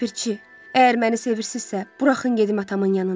Ləpirçi, əgər məni sevirsizsə, buraxın gedim atamın yanına.